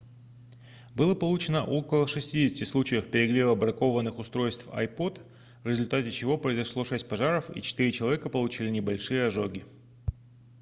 было получено около 60 случаев перегрева бракованных устройств ipod в результате чего произошло шесть пожаров и четыре человека получили небольшие ожоги